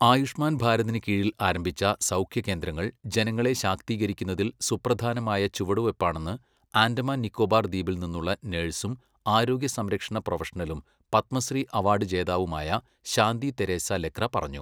ആയുഷ്മാൻ ഭാരതിന് കീഴിൽ ആരംഭിച്ച സൗഖ്യ കേന്ദ്രങ്ങൾ ജനങ്ങളെ ശാക്തീകരിക്കുന്നതിൽ സുപ്രധാനമായ ചുവടുവയ്പാണെന്ന് ആൻഡമാൻ നിക്കോബാർ ദ്വീപിൽ നിന്നുള്ള നഴ്സും ആരോഗ്യസംരക്ഷണ പ്രൊഫഷണലും പത്മശ്രീ അവാർഡ് ജേതാവുമായ ശാന്തി തെരേസ ലക്ര പറഞ്ഞു.